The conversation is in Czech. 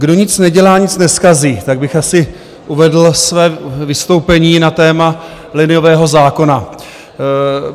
Kdo nic nedělá, nic nezkazí, tak bych asi uvedl své vystoupení na téma liniového zákona.